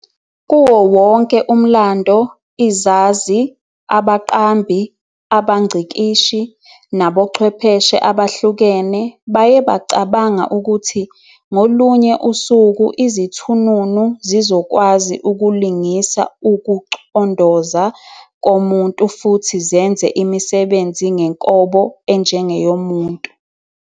Kuwo wonke umlando, izazi, abaqambi, abangcikishi, nabochwepheshe, abahlukene baye bacabanga ukuthi ngolunye usuku izithununu zizokwazi ukulingisa ukucondoza komuntu futhi zenze imisebenzi ngenkobo enjengeyomuntu.